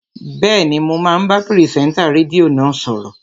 Bẹ́ẹ̀ni, mò ń bá pìrìsẹ́ńtà rédíò náà sọ̀rọ̀